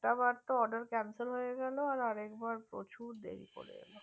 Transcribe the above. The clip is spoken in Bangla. একবার তো order cancelled হয়ে গেলো আর এক বার প্রচুর দেরি করে এল